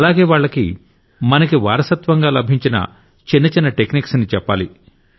అలాగే వాళ్లకి మనకి వారసత్వంగా లభించిన చిన్న చిన్న టెక్నిక్స్ ని చెప్పాలి